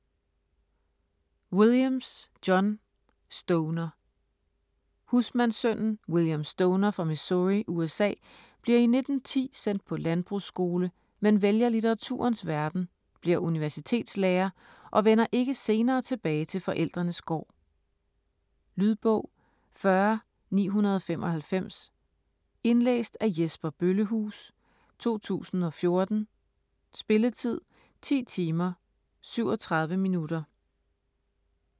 Williams, John: Stoner Husmandssønnen William Stoner fra Missouri, USA, bliver i 1910 sendt på landbrugsskole men vælger litteraturens verden, bliver universitetslærer, og vender ikke senere tilbage til forældrenes gård. Lydbog 40995 Indlæst af Jesper Bøllehuus, 2014. Spilletid: 10 timer, 37 minutter.